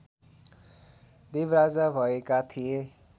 देव राजा भएका थिए